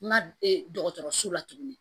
Ma ee dɔgɔtɔrɔso la tuguni